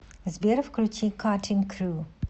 сбер включи каттинг крю